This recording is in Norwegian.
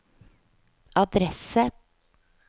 adresse